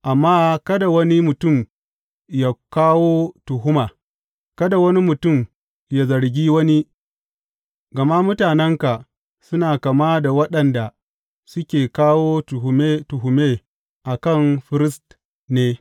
Amma kada wani mutum yă kawo tuhuma, kada wani mutum yă zargi wani, gama mutanenka suna kama da waɗanda suke kawo tuhume tuhume a kan firist ne.